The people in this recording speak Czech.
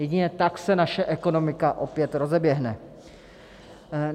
Jedině tak se naše ekonomika opět rozeběhne.